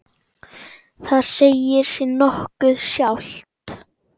Það segir sig nokkuð sjálft.